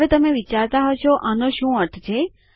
હવે તમે વિચારતા હશો આનો શું અર્થ છે